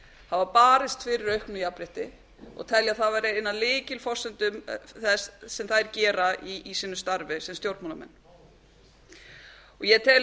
hafa barist fyrir auknu jafnrétti og telja það vera eina af lykilforsendum þess sem þær gera í sínu starfi sem stjórnmálamenn ég tel að